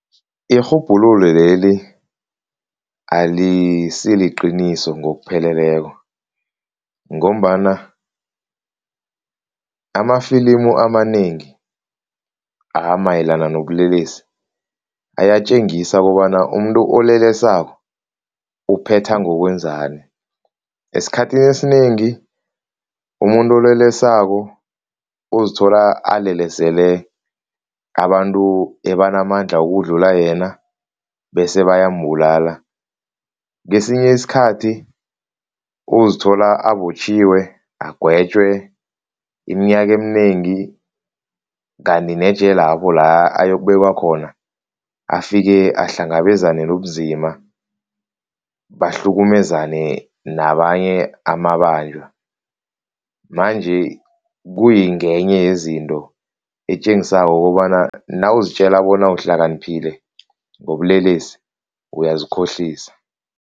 Irhubhululo leli alisiliqiniso ngokupheleleko ngombana amafilimu amanengi amayelana nobulelesi ayatjengisa kobana umuntu olelesako uphetha ngokwenzani, esikhathini esinengi umuntu olelesako, uzithola alelesele abantu abanamandla ukudlula yena bese bayambulala. Kesinye isikhathi uzithola abotjhiwe, agwetjwe iminyaka eminengi kanti nejelelapho la ayokubekwa khona, afike ahlangabezane nobunzima, bahlukumezane nabanye amabanjwa manje, kungenye yezinto etjengisako kobana nawuzitjela bona uhlakaniphile ngobulelesi, uyazikhohlisa.